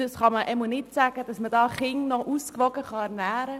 Man kann hier nicht sagen, Kinder könnten damit noch ausgewogen ernährt werden.